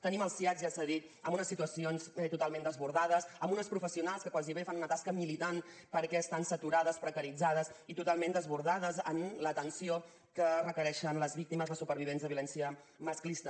tenim els siads ja s’ha dit en unes situacions totalment desbordades amb unes professionals que gairebé fan una tasca militant perquè estan saturades precaritzades i totalment desbordades en l’atenció que requereixen les víctimes les supervivents de violència masclista